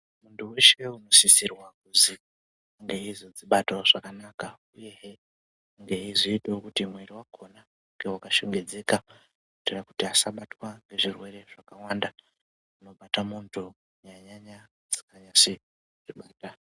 Muntu unosisirwa kuzi ange eizodzibatawo zvakanaka uyehe eizoitaweizoitawo kuti mwiiri wakona unge wakashongedzeka kuitira kuti asabatwa ngezvirwere zvakawanda zvinobata muntu kunyanya-nyanya zvisinganyase ku...